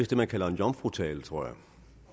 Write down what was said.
det man kalder en jomfrutale tror jeg